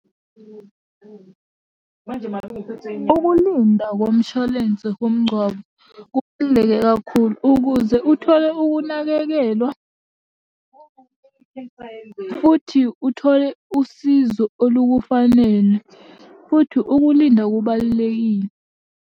Ukulinda komshwalense womngcwabo kubaluleke kakhulu ukuze uthole ukunakekelwa, futhi uthole usizo olukufanele futhi ukulinda kubalulekile.